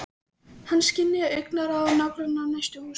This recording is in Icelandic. Hann skynjaði augnaráð nágrannanna úr næstu húsum.